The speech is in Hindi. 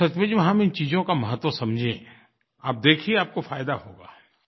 तो सचमुच में हम इन चीज़ों का महत्व समझें आप देखिए आपको फ़ायदा होगा